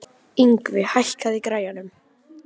Yngvi, hækkaðu í græjunum.